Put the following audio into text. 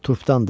Turpdandır.